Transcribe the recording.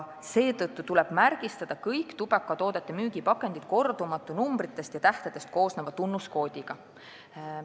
Seetõttu tuleb kõik tubakatoodete müügipakendid märgistada kordumatu numbritest ja tähtedest koosneva tunnuskoodiga.